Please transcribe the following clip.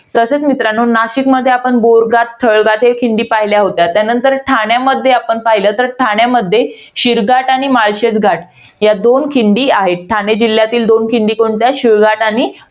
तसेच मित्रांनो, नाशिकमध्ये आपण बोरघाट स्थळघाट या खिंडी पहिल्या होत्या. त्यानंतर ठाण्यामध्ये पाहिलं तर, ठाण्यामध्ये शिळघाट आणि माळशेज घाट या दोन खिंडी आहेत. ठाणे जिल्ह्यातील दोन खिंडी कोणत्या? शिळघाट आणि